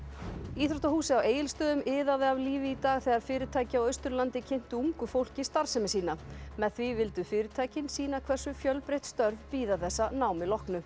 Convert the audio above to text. íþróttahúsið á Egilsstöðum iðaði af lífi í dag þegar fyrirtæki á Austurlandi kynntu ungu fólki starfsemi sína með því vildu fyrirtækin sýna hversu fjölbreytt störf bíða þess að námi loknu